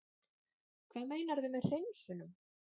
Hvað meinarðu með hreinsunum?